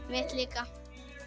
mitt líka